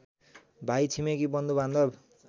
भाइ छिमेकी बन्धुबान्धव